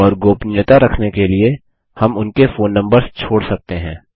और गोपनीयता रखने के लिए हम उनके फोन नम्बर्स छोड़ सकते हैं